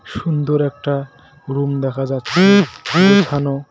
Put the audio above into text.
সুন্দর একটা রুম দেখা যাচ্ছে গোছানো।